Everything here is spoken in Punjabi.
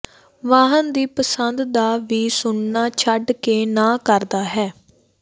ਵਾਹਨ ਦੀ ਪਸੰਦ ਦਾ ਵੀ ਸੁਣਨਾ ਛੱਡ ਕੇ ਨਾ ਕਰਦਾ ਹੈ